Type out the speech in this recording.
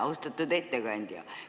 Austatud ettekandja!